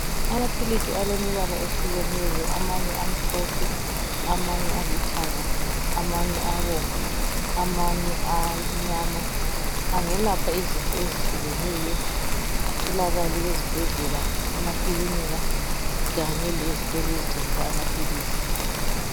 Amaphilisi alemibala eyehlukeneyo, amanye amhlophe, amanye alithanga, amanye abomvu amanye amnyama angelapha izifo ezehlukeneyo atholakale ezibhedlela, emakilinika Kanye lezitolo ezithengisa amaphilisi.